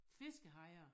Fiskehejre